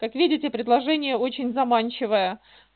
как видите предложение очень заманчивое